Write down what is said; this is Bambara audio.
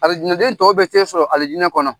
Alijinaden tɔw bɛ t'e sɔrɔ alijinɛ kɔnɔ